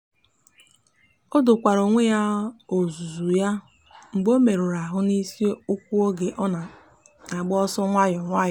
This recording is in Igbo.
o dokwara onwe ya ọzụzụ ya mgbe o merụrụ ahụ n'isi ụkwụ oge ọ na-agba ọsọ nwayọ nwayọ.